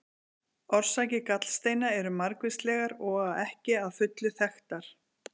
Orsakir gallsteina eru margvíslegar og ekki að fullu þekktar.